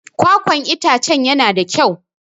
Kwakwan itacen yana da kyau.